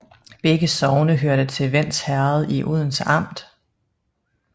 Begge sogne hørte til Vends Herred i Odense Amt